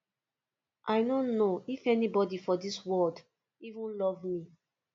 i no know if anybody for dis world even love me